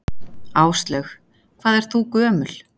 Áslaug: Hvað ert þú gömul?